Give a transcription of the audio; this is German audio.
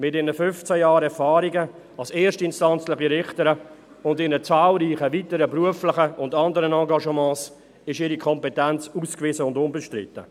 Mit ihren 15 Jahren Erfahrung als erstinstanzliche Richterin und ihren zahlreichen weiteren beruflichen und anderen Engagements ist ihre Kompetenz ausgewiesen und unbestritten.